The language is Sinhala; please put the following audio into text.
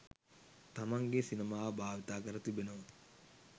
තමන්ගේ සිනමාව භාවිතා කර තිබෙනවා